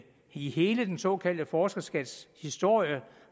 i hele den såkaldte forskerskats historie